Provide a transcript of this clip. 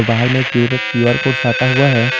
बाहर में एक क्यू_आर कोड साटा हुआ है।